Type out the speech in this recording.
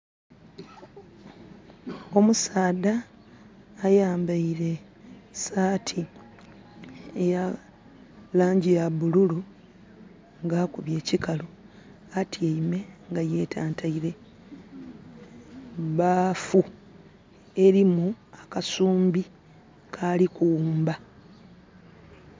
Omusaadha ayambaire saati eya langi ya bululu nga akubye ekikalu. Atyaime nga yetantaile baafu elimu akasumbi kaali kughumba.